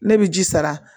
Ne bɛ ji sara